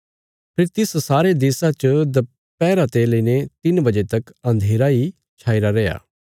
फेरी तिस सारे देशा च दपैहरा ते लेईने तिन्न बजे तक अन्धेरा इ छाईरा रैया